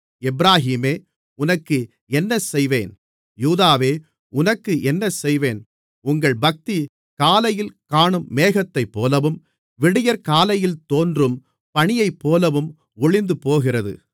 எப்பிராயீமே உனக்கு என்ன செய்வேன் யூதாவே உனக்கு என்ன செய்வேன் உங்கள் பக்தி காலையில் காணும் மேகத்தைப்போலவும் விடியற்காலையில் தோன்றும் பனியைப்போலவும் ஒழிந்துபோகிறது